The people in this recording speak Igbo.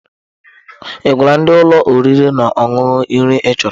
Ị gwala ndi ụlọ oriri na ọṅụṅụ nri ị chọrọ?